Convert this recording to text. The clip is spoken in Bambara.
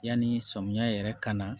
Yanni samiyan yɛrɛ ka na